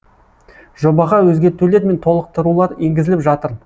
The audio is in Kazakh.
жобаға өзгертулер мен толықтырулар енгізіліп жатыр